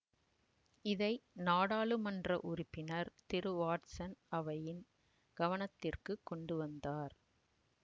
இதை நாடாளுமன்ற உறுப்பினர் திரு வாட்சன் அவையின் கவனத்திற்கு கொண்டுவந்தார்